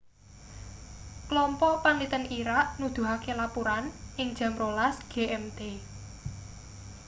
klompok panliten irak nuduhake lapuran ing jam 12.00 gmt